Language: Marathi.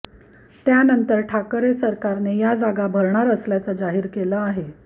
त्यानंतर ठाकरे सरकारने या जागा भरणार असल्याचं जाहीर केलं आहे